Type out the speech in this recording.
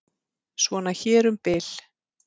Svona hér um bil.